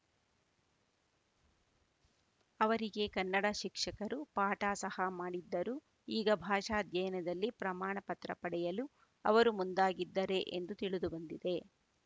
ಅವರಿಗೆ ಕನ್ನಡ ಶಿಕ್ಷಕರು ಪಾಠ ಸಹ ಮಾಡಿದ್ದರು ಈಗ ಭಾಷಾ ಅಧ್ಯಯನದಲ್ಲಿ ಪ್ರಮಾಣ ಪತ್ರ ಪಡೆಯಲು ಅವರು ಮುಂದಾಗಿದ್ದರೆ ಎಂದು ತಿಳಿದು ಬಂದಿದೆ